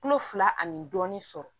Kulo fila ni dɔɔnin sɔrɔ